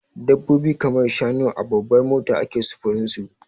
Dabbobi kamar shanu a babbar mota ake sufurin su.